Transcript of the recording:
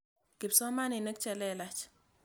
Kipsomaninik che lelach.